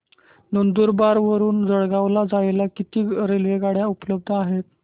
नंदुरबार वरून जळगाव ला जायला किती रेलेवगाडया उपलब्ध आहेत